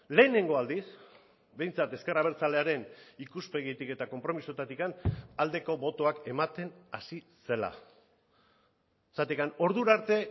lehenengo aldiz behintzat ezker abertzalearen ikuspegitik eta konpromisoetatik aldeko botoak ematen hasi zela zergatik ordura arte